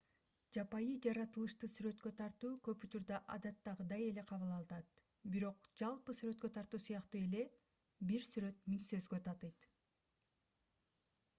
жапайы жаратылышты сүрөткө тартуу көп учурда адаттагыйдай эле кабыл алынат бирок жалпы сүрөткө тартуу сыяктуу эле бир сүрөт миң сөзгө татыйт